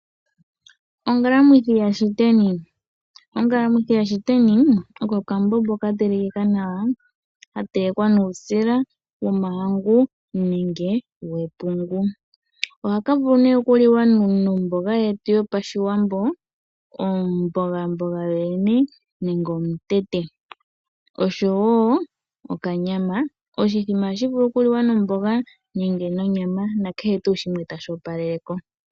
Ongalamwithi yashiteni, ongalamwithi yashiteni oko okambombo katelekeka nawa , katelekeka nuusila womahangu nenge wepungu. Ohaka vulu nee okuliwa nomboga yetu yo pashiwambo omboga mboga yoyene nenge omutete oshowo okanyama. Oshithima ohashi vulu oku liwa nomboga nenge nonyama nakehe tuu shimwe tashi opalele ko.